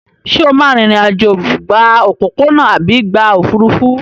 Ṣé o máa rìnrìn-àjò gba òpópónà àbí gba òfúrufú?